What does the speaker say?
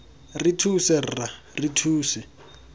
re thuse rra re thuse